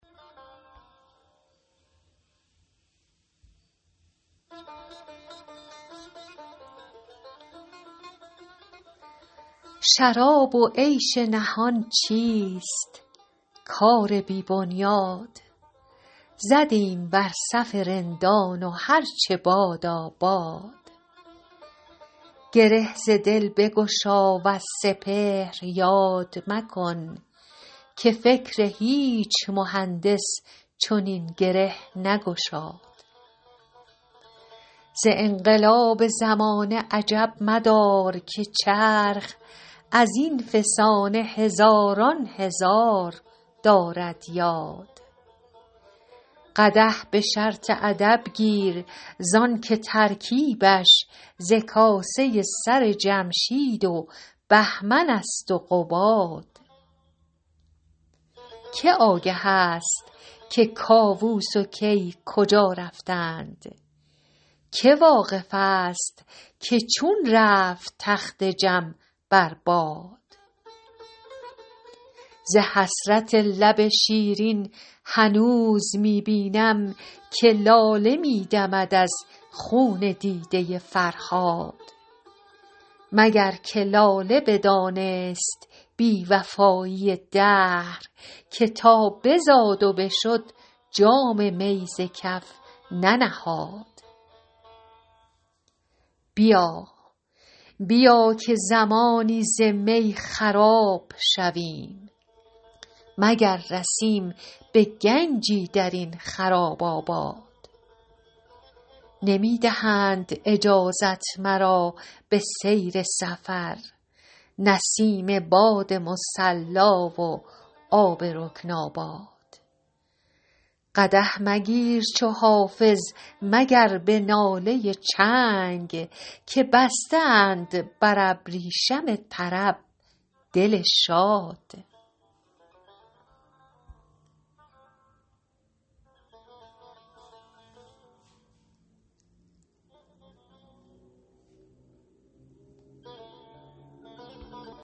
شراب و عیش نهان چیست کار بی بنیاد زدیم بر صف رندان و هر چه بادا باد گره ز دل بگشا وز سپهر یاد مکن که فکر هیچ مهندس چنین گره نگشاد ز انقلاب زمانه عجب مدار که چرخ از این فسانه هزاران هزار دارد یاد قدح به شرط ادب گیر زان که ترکیبش ز کاسه سر جمشید و بهمن است و قباد که آگه است که کاووس و کی کجا رفتند که واقف است که چون رفت تخت جم بر باد ز حسرت لب شیرین هنوز می بینم که لاله می دمد از خون دیده فرهاد مگر که لاله بدانست بی وفایی دهر که تا بزاد و بشد جام می ز کف ننهاد بیا بیا که زمانی ز می خراب شویم مگر رسیم به گنجی در این خراب آباد نمی دهند اجازت مرا به سیر سفر نسیم باد مصلا و آب رکن آباد قدح مگیر چو حافظ مگر به ناله چنگ که بسته اند بر ابریشم طرب دل شاد